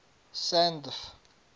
sandf